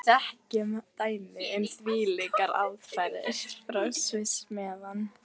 Kjartan Hreinn Njálsson: Jón Arnór töframaður, ertu spenntur fyrir kvöldinu?